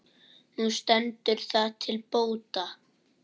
Nú stendur það til bóta.